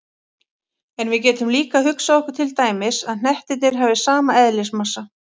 En við getum líka hugsað okkur til dæmis að hnettirnir hafi sama eðlismassa.